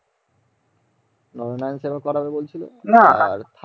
নয় নয় করে করাবে বলছিলে না